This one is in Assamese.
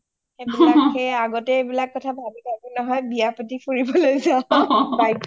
আগতে এইবিলাক কথা ভাবি থাকো নহয় , বিয়া পাতি ফুবিবলৈ যাও bike ত